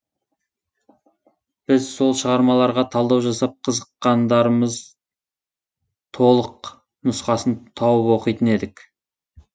біз сол шығармаларға талдау жасап қызыққандарымыз толық нұсқасын тауып оқитын едік